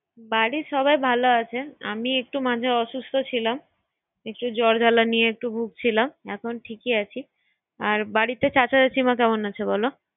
বাড়ির সাবাই ভালো আছে। আমি একটু মাঝে অসুস্থ ছিলাম। একটু জ্বর জালা নিয়ে একটু ভুগছিলাম। এখন ঠিকই আছি। আর বাড়িতে চাচা-চাচিমা কেমন আছে বল।